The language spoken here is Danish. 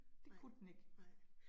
Nej nej